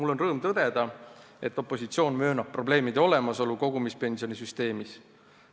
Mul on rõõm tõdeda, et opositsioon möönab probleemide olemasolu kogumispensionisüsteemis.